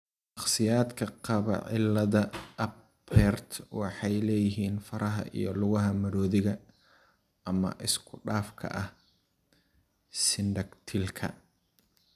Shakhsiyaadka qaba cillada Apert waxay leeyihiin faraha iyo lugaha maroodigga ama isku-dhafka ah (sindactylka).